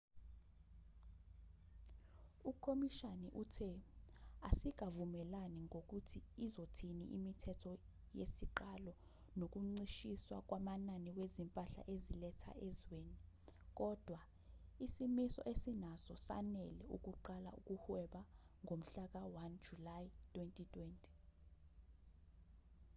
ukhomishana uthe asikavumelani ngokuthi izothini imithetho yesiqalo nokuncishiswa kwamanani wezimpahla ezilethwa ezweni kodwa isimiso esinaso sanele ukuqala ukuhweba ngomhlaka-1 july 2020